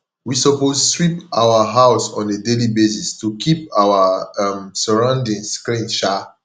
we suppose sweep our house on a daily basis to keep our um sorroundings clean um